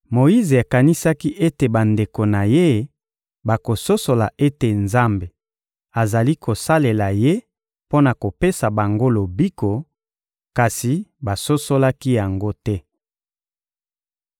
Moyize akanisaki ete bandeko na ye bakososola ete Nzambe azali kosalela ye mpo na kopesa bango lobiko, kasi basosolaki yango te.